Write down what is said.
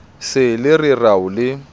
se le re rao le